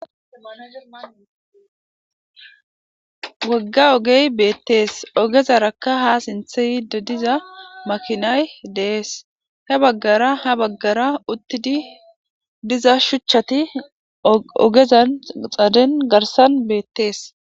wogga ogey beettees ogezarakka ha sinthe yidi diza makinay dees he baggara ha baggara uttidi diza shuchchati ogezan xaaden garsan beettees